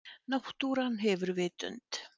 Náttúran hefur vitund.